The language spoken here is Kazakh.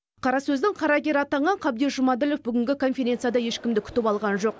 қарасөздің қарагері атанған қабдеш жұмаділов бүгінгі конференцияда ешкімді күтіп алған жоқ